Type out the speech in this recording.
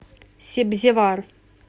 себзевар